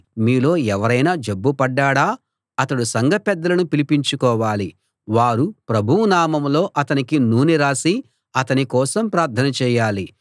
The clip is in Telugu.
మీలో ఎవరైనా జబ్బు పడ్డాడా అతడు సంఘ పెద్దలను పిలిపించుకోవాలి వారు ప్రభువు నామంలో అతనికి నూనె రాసి అతని కోసం ప్రార్థన చేయాలి